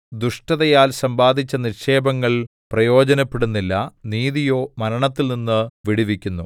ദുഷ്ടതയാൽ സമ്പാദിച്ച നിക്ഷേപങ്ങൾ പ്രയോജനപ്പെടുന്നില്ല നീതിയോ മരണത്തിൽനിന്ന് വിടുവിക്കുന്നു